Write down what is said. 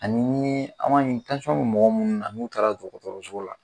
Ani n yee be mɔgɔ munnu na n'u taara dɔgɔtɔrɔso la